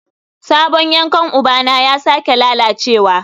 Sabon yankan ubana ya sake lalacewa